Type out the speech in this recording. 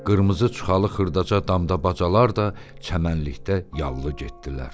Qırmızı çuxalı xırdaca damdabacalar da çəmənlikdə yallı getdilər.